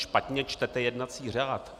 Špatně čtete jednací řád.